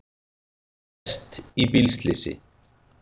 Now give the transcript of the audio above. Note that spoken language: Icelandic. Lést í bílslysi